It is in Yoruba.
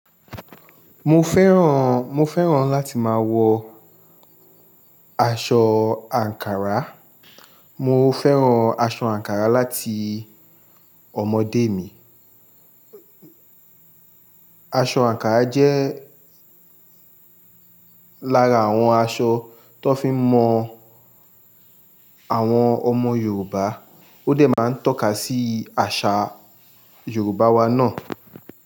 Mo fẹ́ràn, mo fẹ́ràn láti máa wọ aṣọ àǹkárá. Mo fẹ́ràn aṣọ àǹkárá láti ọmọdé mi. Aṣọ àǹkárá jẹ́ lára àwọn aṣọ tó fi ń mọ àwọn ọmọ Yorùbá. Ó dè máa ń tọ́ka sí àṣà Yorùbá wa náà.